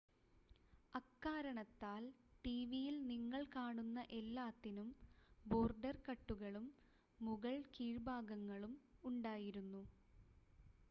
അക്കാരണത്താൽ ടിവിയിൽ നിങ്ങൾ കാണുന്ന എല്ലാത്തിനും ബോർഡർ കട്ടുകളും മുകൾ കീഴ്‌ഭാഗങ്ങളും ഉണ്ടായിരുന്നു